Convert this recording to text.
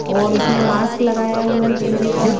और उसने मास्क लगाया हुआ है चेहरे पर--